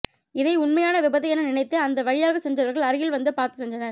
இதை உண்மையான விபத்து என நினைத்து அந்த வழியாக சென்றவர்கள் அருகில் வந்து பார்த்து சென்றனர்